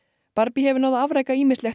barbie hefur náð að afreka ýmislegt á